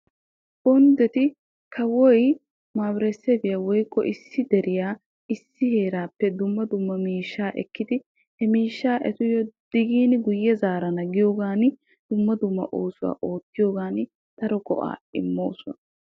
Bonddetti kawoy issi deriya dumma dumma heeran daro oosuwa oottiyoogan daro go'aa immosonna.